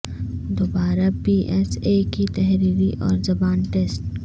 دوبارہ P S A کی تحریری اور زبان ٹیسٹ